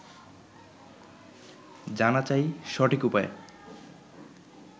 জানা চাই সঠিক উপায়